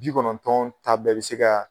Ji kɔnɔntɔn ta bɛɛ bɛ se ka